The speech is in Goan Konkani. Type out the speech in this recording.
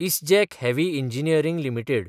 ISGEC heavy engineering limited